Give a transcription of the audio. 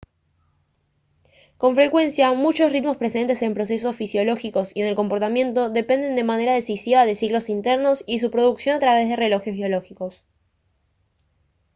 con frecuencia muchos ritmos presentes en procesos fisiológicos y en el comportamiento dependen de manera decisiva de ciclos internos y su producción a través de relojes biológicos